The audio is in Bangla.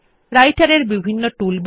রাইটের এর বিভিন্ন টুলবার